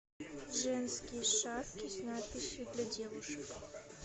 женские шапки с надписью для девушек